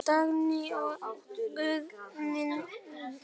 Elsku Dagný, Guð geymi þig.